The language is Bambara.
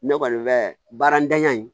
Ne kɔni bɛ baaratanya in